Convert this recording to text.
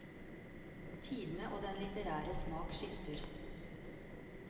Tidene og den litterære smak skifter.